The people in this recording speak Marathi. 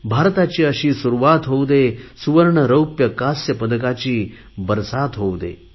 भारताची अशी सुरुवात होऊ दे सुवर्ण रौप्य कास्य पदकांची बरसात होऊ दे